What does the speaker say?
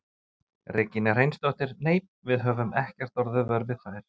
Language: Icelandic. Regína Hreinsdóttir: Nei, við höfum ekkert orðið vör við þær?